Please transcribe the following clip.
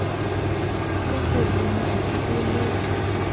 ka ho lemala o le